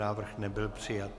Návrh nebyl přijat.